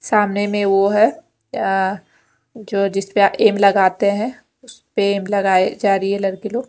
सामने में वो है अ जो जिसपे एम लगाते है उसपे एम लगाई जा रही है लडकी लोग--